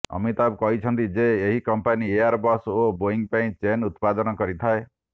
ଅମିତାଭ କହିଛନ୍ତି ଯେ ଏହି କମ୍ପାନୀ ଏୟାରବସ ଓ ବୋଇଂ ପାଇଁ ଚେନ୍ ଉତ୍ପାଦନ କରିଥାଏ